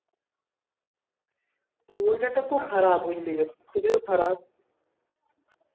ঐ তা তো খুব খারাপ তুমিও খারাপ